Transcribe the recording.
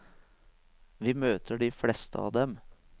Vi møter de fleste av dem.